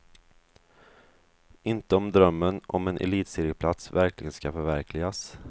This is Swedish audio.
Inte om drömmen om en elitserieplats verkligen ska förverkligas.